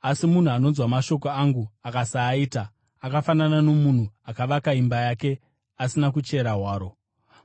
Asi munhu anonzwa mashoko angu akasaaita, akafanana nomunhu akavaka imba pavhu asina kuchera hwaro.